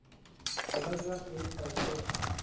এইবাৰ class eight পাইছে